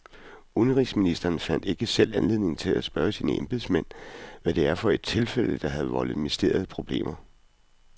Udenrigsministeren fandt ikke selv anledning til at spørge sine embedsmænd, hvad det var for et tilfælde, der havde voldt ministeriet problemer.